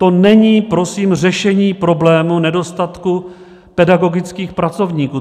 To není prosím řešení problému nedostatku pedagogických pracovníků.